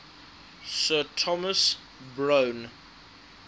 sir thomas browne